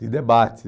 De debate.